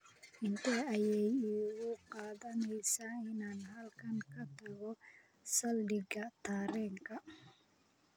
intee ayay igu qaadanaysaa inaan halkan ka tago saldhiga tareenka